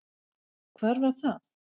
Hvar var það?